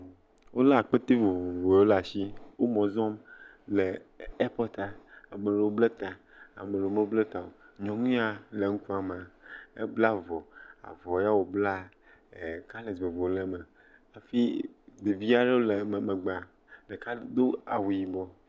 Wolé akpete vovovowo ɖe asi, wo mɔ zɔm le ɛɛpɔtaa, ame aɖewo ble ta, ame ɖewo meble ta o. nyɔnu ya ŋkua mea, ebla avɔ, avɔ ya wòblaa, kalɛs vovovo le hafi ɖevi aɖewo le wo megbea ɖeka do awu yibɔ.